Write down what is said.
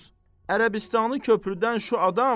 İranda nəşri əfkar ediyormuş.